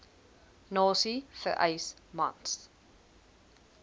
nasie vereis mans